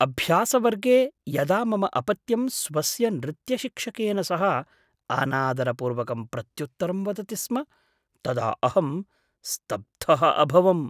अभ्यासवर्गे यदा मम अपत्यं स्वस्य नृत्यशिक्षकेन सह अनादरपूर्वकं प्रत्युत्तरं वदति स्म तदा अहं स्तब्धः अभवम्।